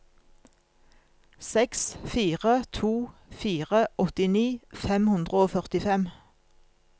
seks fire to fire åttini fem hundre og førtifem